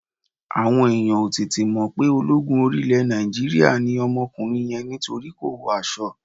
Àwọn èèyàn ò tètè mo pe ológun orí ilẹ̀ Nàìjíríà ni ọmọkùnrin yẹn nítorí kò wọ aṣọ